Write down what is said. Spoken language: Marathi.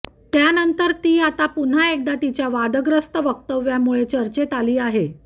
त्यानंतर ती आता पुन्हा एकदा तिच्या वादग्रस्त वक्तव्यांमुळे चर्चेत आली आहे